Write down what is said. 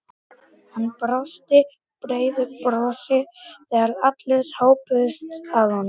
Hann brosti breiðu brosi þegar allir hópuðust að honum.